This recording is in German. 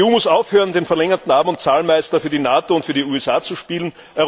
Die EU muss aufhören, den verlängerten Arm und Zahlmeister für die NATO und für die USA zu spielen.